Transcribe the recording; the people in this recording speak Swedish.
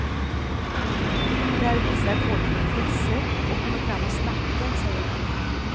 Där visar folk intresse och kommer fram och snackar, säger han.